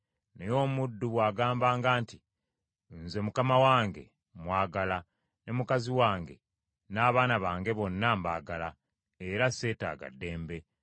Naye omuddu bw’agambanga nti, ‘Nze mukama wange mmwagala, ne mukazi wange n’abaana bange bonna mbagala, era seetaaga ddembe,’